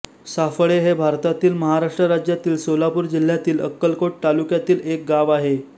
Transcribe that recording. साफळे हे भारतातील महाराष्ट्र राज्यातील सोलापूर जिल्ह्यातील अक्कलकोट तालुक्यातील एक गाव आहे